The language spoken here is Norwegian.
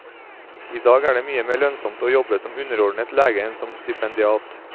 I dag er det mye mer lønnsomt å jobbe som underordnet lege enn som stipendiat.